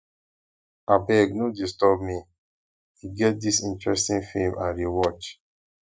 abeg no disturb me e get dis interesting film i dey watch